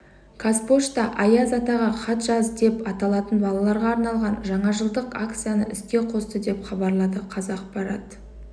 қазпошта аяз атаға хат жаз деп аталатын балаларға арналған жаңажылдық акцияны іске қосты деп хабарлады қазақпарат